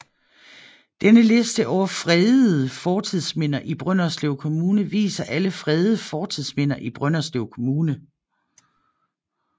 Denne liste over fredede fortidsminder i Brønderslev Kommune viser alle fredede fortidsminder i Brønderslev Kommune